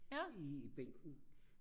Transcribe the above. i bænken